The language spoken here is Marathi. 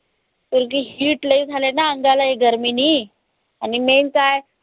ऐकत heat लय झालंय ना अंगामध्ये गर्मीनी आणि main काय?